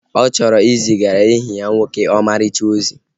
Ọ chọrọ izigara enyi ya nwoke ọmarịcha ozi